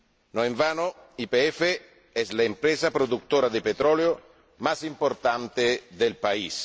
No en vano YPF es la empresa productora de petróleo más importante del país.